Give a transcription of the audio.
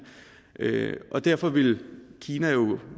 og derfor vil kina jo